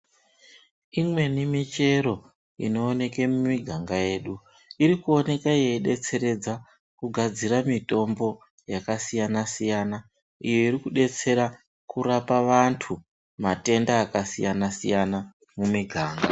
Imweni michero inoneke mumiganga yedu irikuoneka yeibetseredza kugadzira mitombo yakasiyana siyana, iyo irikubetsera kurapa vantu matenda akasiyana siyana mumiganga.